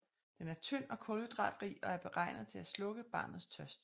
Den er tynd og kulhydratrig og er beregnet til at slukke barnets tørst